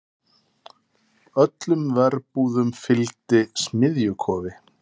Öllum verbúðum fylgdi smiðjukofi.